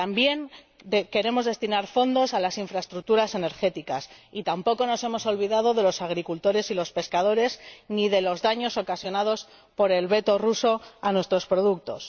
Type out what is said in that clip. también queremos destinar fondos a las infraestructuras energéticas, y tampoco nos hemos olvidado de los agricultores y los pescadores, ni de los daños ocasionados por el veto ruso a nuestros productos.